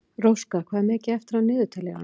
Róska, hvað er mikið eftir af niðurteljaranum?